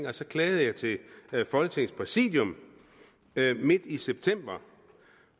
og så klagede jeg til folketingets præsidium midt i september